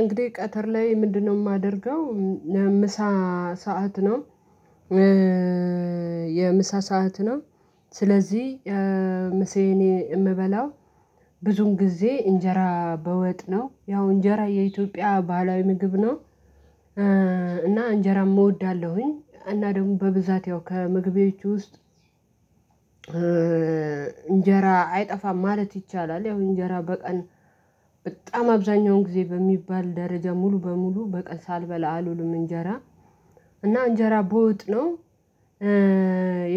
እንግዲህ ቀትር ላይ ምንድነው? የማደርገው ምሳ ሰዓት ነው። የምሳ ሰዓት ነው። ስለዚህ ምሳዬን የምበላው ብዙን ጊዜ እንጀራ በወጥ ነው ያው እንጀራ የኢትዮጵያ ባህላዊ ምግብ ነው። እና እንጀራም እወዳለሁኝ እና ደግሞ በብዛት ያው ከምግቦቼ ውስጥ እንጀራ አይጠፋም ማለት ይቻላል። ያው እንጀራ በቀን በጣም አብዛኛውን ጊዜ በሚባል ደረጃ ሙሉ በሙሉ በቀን ሳልበላ አልውልም እንጀራ እና እንጀራ በወጥ ነው።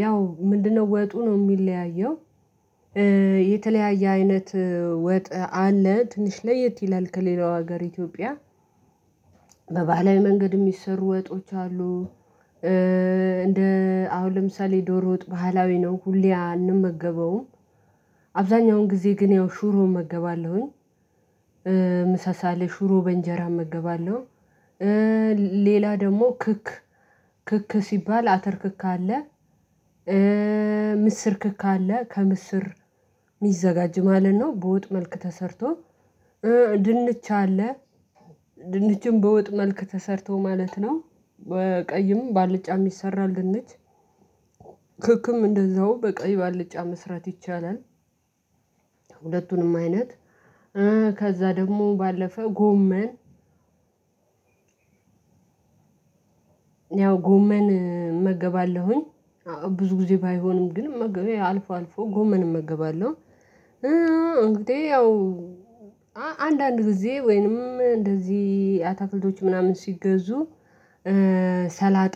ያው ምንድነው ወጡ ነው የሚለያየው? የተለያየ አይነት ወጥ አለ ትንሽ ለየት ይላል ከሌላው ሀገር የኢትዮጵያ በባህላዊ መንገድ የሚሰሩ ወጦች አሉ። እንደ አሁን ለምሳሌ ዶሮ ወጥ ባህላዊ ነው ሁሌ አንመገበውም። አብዛኛውን ጊዜ ግን ያው ሹሮ እመገባለሁኝ። ሽሮ በእንጀራ እመገባለሁ። ሌላ ደግሞ ክክ ክክ ሲባል አተርክክ አለ። ምስር ክክ አለ ከምስር የሚዘጋጅ ማለት ነው። በወጥ መልክ ተሰርቶ ድንች አለ። ድንችም በወጥ መልክ ተሰርቶ ማለት ነው። በቀይም በአልጫም ይሰራል ድንች ክክም እንደዛው በቀይ ባልጫ መስራት ይቻላል። ሁለቱንም አይነት ከዛ ደግሞ ባለፈ ጎመን ያው ጎመን እመገባለሁኝ። ብዙ ጊዜ ባይሆንም ግን አልፎ አልፎ ጎመን እመገባለሁ። እንግዲህ ያው አንዳንድ ጊዜ ወይንም እንደዚህ አታክልቶች ምናምን ሲገዙ ሰላጣ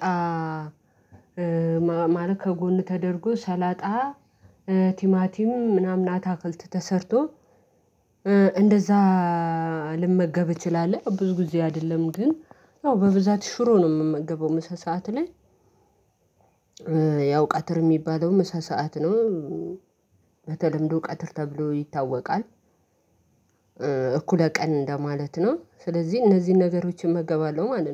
ማረግ ከጎን ተደርጎ ሰላጣ ቲማቲም ምናምን አታክልት ተሰርቶ እንደዛ ልመገብ እችላለሁ። ብዙ ጊዜ አይደለም ግን ያው በብዛት ሽሮ ነው የምመገበው ምሳ ሰዓት ላይ። ያው ቀትር የሚባለው ምሳ ሰዓት ነው። በተለምዶ ቀትር ተብሎ ይታወቃል። እኩለ ቀን እንደማለት ነው ስለዚህ እነዚህን ነገሮችን እመገባለሁ ማለት ነው